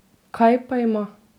Kaj pa ima?